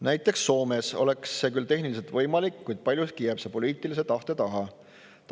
Näiteks Soomes oleks see tehniliselt võimalik, kuid paljuski jääb see poliitilise tahte taha.